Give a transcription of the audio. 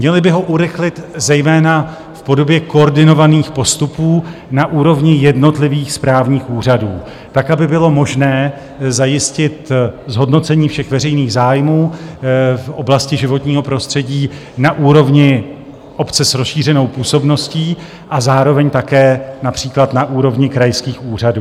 Měly by ho urychlit zejména v podobě koordinovaných postupů na úrovni jednotlivých správních úřadů tak, aby bylo možné zajistit zhodnocení všech veřejných zájmů v oblasti životního prostředí na úrovni obce s rozšířenou působností a zároveň také například na úrovni krajských úřadů.